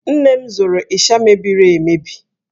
Nne m zụrụ ịsha mebiri emebi.